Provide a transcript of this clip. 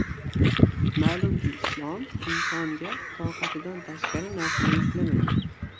Ma’lumki, Islom insonga toqatidan tashqari narsani yuklamaydi.